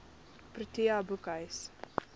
protea boekhuis